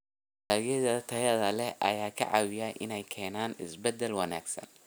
Dalagyada tayada leh ayaa ka caawiya inay keenaan isbeddel wanaagsan.